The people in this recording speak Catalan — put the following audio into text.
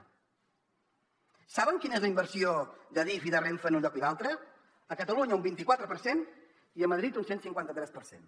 saben quina és la inversió d’adif i de renfe en un lloc i l’altre a catalunya un vint i quatre per cent i a madrid un cent i cinquanta tres per cent